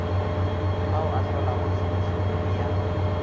ao a hlolago tšhomišompe ya